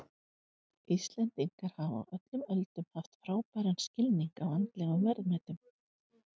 Íslendingar hafa á öllum öldum haft frábæran skilning á andlegum verðmætum.